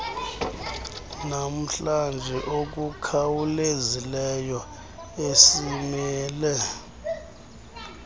namhlanje okukhawulezileyo esimele